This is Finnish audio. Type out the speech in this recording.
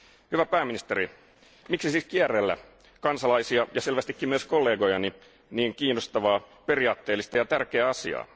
Hyvä pääministeri, miksi siis kierrellä kansalaisia ja selvästikin myös kollegojani niin kiinnostavaa, periaatteellista ja tärkeää asiaa?